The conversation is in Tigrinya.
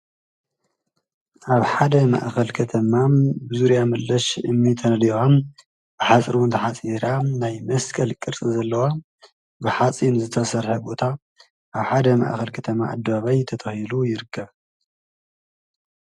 ኣብ ሓደ መእኸል ከተማ ብዙርያ ምለሽ እሚ ተነድዋ ብሓጽር ንተ ሓጺራ ናይ መስቀል ቅርቲ ዘለዋ ብኃፂን ዘተሠሐ ቦታ ኣብ ሓደ መእኸል ከተማ ኣደባይ ተተሂሉ ይርከብ።